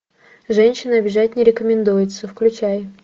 женщин обижать не рекомендуется включай